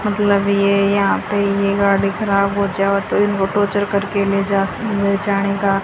मतलब ये यहां पे ये गाड़ी खराब हो जाओ तो इनको टोचर कर के ले जा ले जाने का--